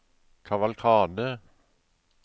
kavalkade